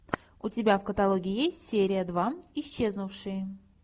у тебя в каталоге есть серия два исчезнувшие